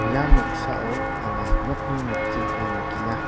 ia noksao anga nokni nokjringko nikenga.